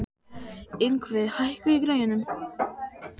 Yngvi, hækkaðu í græjunum.